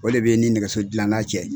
O le be i ni nɛgɛso dilanna cɛ.